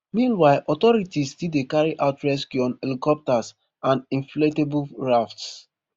meanwhile authorities still dey carry out rescue on helicopters and inflatable rafts